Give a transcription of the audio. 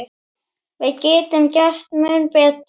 Við getum gert mun betur.